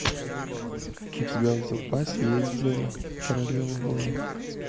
у тебя в запасе есть зена королева воинов